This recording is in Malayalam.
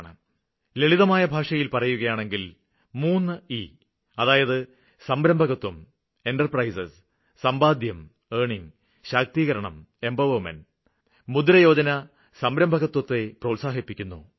ഇതുവഴി നമ്മള് ഉദ്ദേശിക്കുന്നത് ലളിതമായ ഭാഷയില് പറയുകയാണെങ്കില് 3 ഇ അതായത് സംരംഭകത്വം സമ്പാദ്യം ശാക്തീകരണം എന്റർപ്രൈസസ് അർണിങ് എംപവർമെന്റ് മുദ്രയോജന സംരംഭകത്വത്തെ പ്രോത്സാഹിപ്പിക്കുന്നു